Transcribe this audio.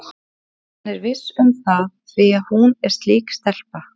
Hann er viss um það því að hún er slík stelpa.